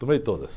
Tomei todas.